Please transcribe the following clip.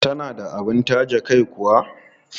Tana da abin taje kai kuwa?